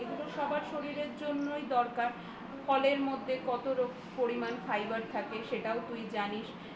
এগুলো সবার শরীরের জন্যই দরকার ফলের মধ্যে কত পরিমান fibre থাকে সেগুলোও তুই জানিস